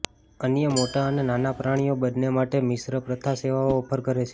અન્ય મોટા અને નાના પ્રાણીઓ બંને માટે મિશ્ર પ્રથા સેવાઓ ઓફર કરે છે